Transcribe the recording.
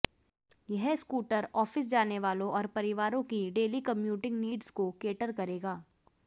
यह scooter office जाने वालों और परिवारों की डेली कम्यूटिंग नीड्स को कैटर करेगा